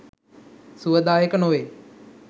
සුවදායක නොවේ.